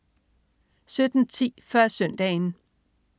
17.10 Før Søndagen